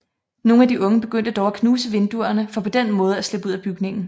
Nogle af de unge begyndte dog at knuse vinduerne for på den måde at slippe ud af bygningen